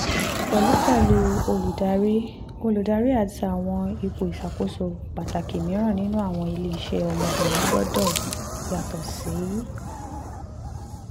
pẹlupẹlu oludari oludari ati awọn ipo iṣakoso pataki miiran ninu awọn ile-iṣẹ ọmọbirin gbọdọ yato si